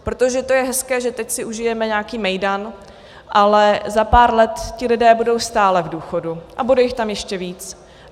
Protože to je hezké, že teď si užijeme nějaký mejdan, ale za pár let ti lidé budou stále v důchodu a bude jich tam ještě víc.